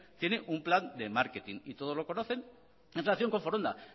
tiene un plan de marketing y todos lo conocen en relación con foronda